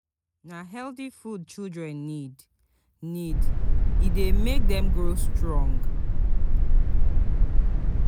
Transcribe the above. Na healthy food children need, need, e dey make dem grow strong.